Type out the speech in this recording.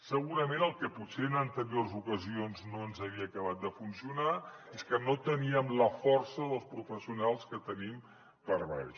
segurament el que potser en anteriors ocasions no ens havia acabat de funcionar és que no teníem la força dels professionals que tenim per baix